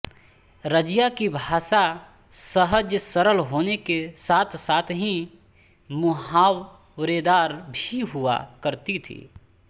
रजिया की भाषा सहज सरल होने के साथ साथ ही मुहावरेदार भी हुआ करती थी